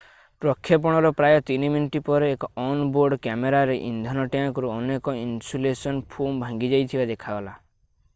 ପ୍ରକ୍ଷେପଣର ପ୍ରାୟ 3 ମିନିଟ୍ ପରେ ଏକ ଅନ୍-ବୋର୍ଡ କ୍ୟାମେରାରେ ଇନ୍ଧନ ଟ୍ୟାଙ୍କରୁ ଅନେକ ଇନସୁଲେସନ୍ ଫୋମ୍ ଭାଙ୍ଗିଯାଇଥିବା ଦେଖାଗଲା